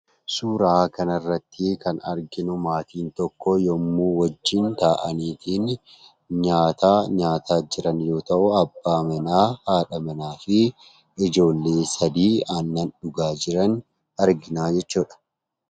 Suuraa kanarratti kan arginuu, maatiin tokko yemmuu wajjin taa'anii nyaata nyaataa jiran yoo ta'u, abbaa manaa, haadha manaa fi ijoollee sadii aannan dhugaa jiran arginaa jechuudha.